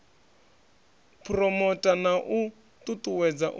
phuromotha na u ṱuṱuwedza u